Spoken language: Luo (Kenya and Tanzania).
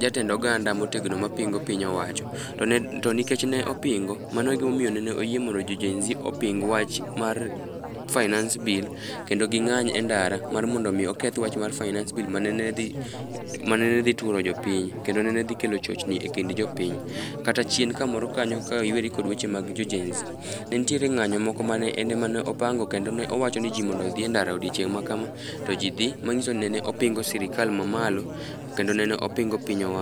jatend oganda motegno mapingo piny owacho. To nikech ne opingo mano egima omiyo ne oyie mondo jo Gen z oping wach mar finance bill kendo ging'any e ndara mar mondo mi oketh wach mar finance bill manene dhi manene dhi turo jopiny kendo nene dhi kelo chochni ekind jopiny. Kata chien kamoro kanyo ka iweri kod weche mag jo Gen z, ne nitiere ng'anyo moko mane en ema ne opangokendo ne owacho ni ji mondo odhi endara odiechieng' ma kama, to ji dhi manyiso ni ne opingo sirkal mamalo kendo nene opingo piny owach